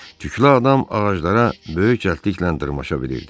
Tüklü adam ağaclara böyük cəldliklə dırmaşa bilirdi.